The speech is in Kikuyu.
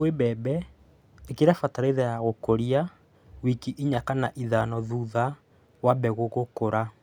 Kwĩ mbembe, ĩkĩra bataraitha ya gũkũria wiki inya kana ithano thutha wa mbegũ gũkũra.